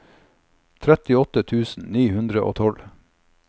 trettiåtte tusen ni hundre og tolv